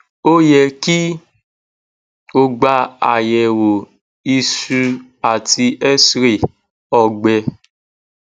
ó yẹ kí o gba àyẹ̀wò iṣu àti xray ọgbẹ